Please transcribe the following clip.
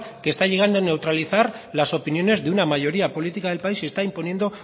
que está llegando a neutralizar las opiniones de una mayoría política del país y está imponiendo